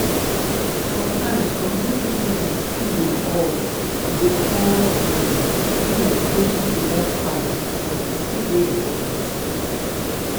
sometimes community meeting fit dey hot e go come um be like sey pipo wan fight but e still dey important.